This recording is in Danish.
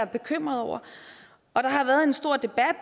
bekymret over og der har været en stor debat